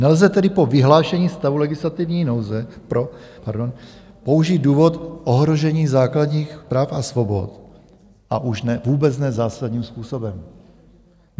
Nelze tedy pro vyhlášení stavu legislativní nouze použít důvod ohrožení základních práv a svobod, a už vůbec ne zásadním způsobem.